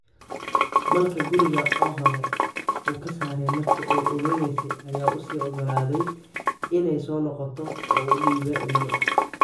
Malka guriga oo hore uu ka saaray markii ay uuraysnayd ayaa uu sii oggolaadey inay soo noqoto oo uu u dhiibey ilmo.